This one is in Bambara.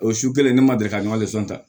O su kelen ne ma deli ka ta